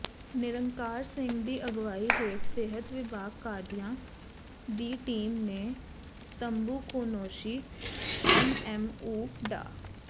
ਨਿਰੰਕਾਰ ਸਿੰਘ ਦੀ ਅਗਵਾਈ ਹੇਠ ਸਿਹਤ ਵਿਭਾਗ ਕਾਦੀਆਂ ਦੀ ਟੀਮ ਨੇ ਤੰਬਾਕੂਨੋਸ਼ੀ ਐੱਸਐੱਮਓ ਡਾ